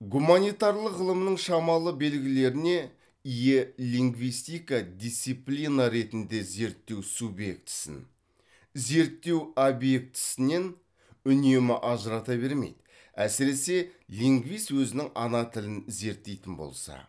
гуманитарлық ғылымның шамалы белгілеріне ие лингвистика дисциплина ретінде зерттеу субъектісін зерттеу объектісінен үнемі ажырата бермейді әсіресе лингвист өзінің ана тілін зерттейтін болса